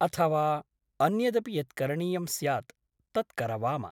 अथवा अन्यदपि यत् करणीयं स्यात् तत् करवाम ।